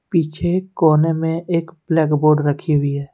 पीछे कोने में एक ब्लैक बोर्ड रखी हुई है।